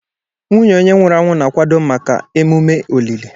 Nwunye onye nwụrụ anwụ na-akwado maka emume olili.